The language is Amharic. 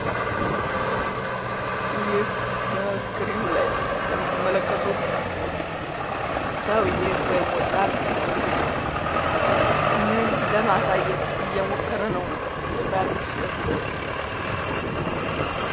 ይህ በስክሪኑ ላይ የምትመለከቱት ሰዉየ ወይም ወጣት ምን ለማሳየት እየሞከረ ነዉ? የባህል ልብስ ለብሶ?